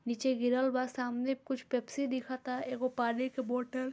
नीचे गिरल बा सामने कुछ पेप्सी दिखता एगो पानी के बोतल --